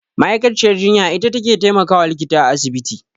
Ma'aikaciyar jinya ita take taimakawa likita a asibiti.